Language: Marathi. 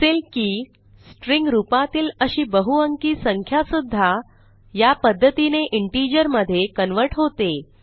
दिसेल की स्ट्रिंग रूपातील अशी बहुअंकी संख्या सुध्दा यापध्दतीने इंटिजर मधे कन्व्हर्ट होते